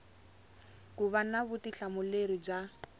ku va na vutihlamuleri bya